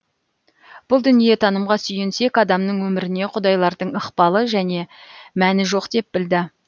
бұл дүниетанымға сүйенсек адамның өміріне құдайлардың ықпалы және мәні жоқ деп білді